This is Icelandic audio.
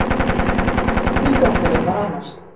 En tilgangurinn var annar.